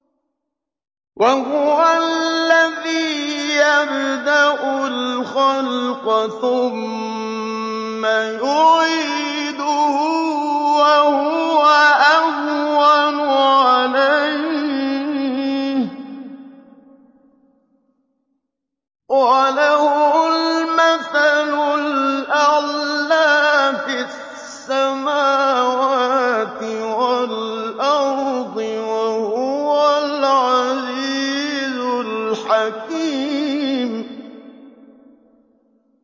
وَهُوَ الَّذِي يَبْدَأُ الْخَلْقَ ثُمَّ يُعِيدُهُ وَهُوَ أَهْوَنُ عَلَيْهِ ۚ وَلَهُ الْمَثَلُ الْأَعْلَىٰ فِي السَّمَاوَاتِ وَالْأَرْضِ ۚ وَهُوَ الْعَزِيزُ الْحَكِيمُ